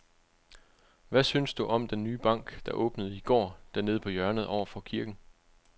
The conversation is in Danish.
Hvad synes du om den nye bank, der åbnede i går dernede på hjørnet over for kirken?